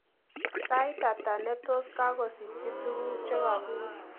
Sait hata netos kokagosikchi tuguk chegaguur